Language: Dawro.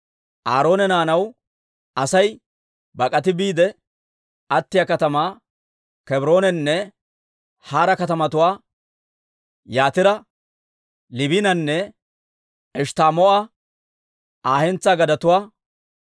Aaroona naanaw Asay bak'ati biide attiyaa katamaa, Kebroonenne Hara katamatuwaa Yatira, Liibinanne Eshttamoo'a Aa hentsaa gadetuwaa,